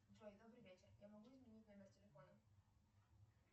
джой добрый вечер я могу изменить номер телефона